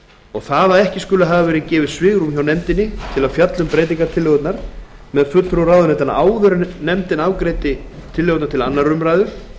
það að ekki skuli hafa verið svigrúm hjá nefndinni til að fjalla um breytingartillögurnar með fulltrúum ráðuneytanna áður en nefndin afgreiddi tillögurnar til annarrar umræðu